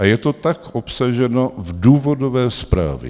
A je to tak obsaženo v důvodové zprávě.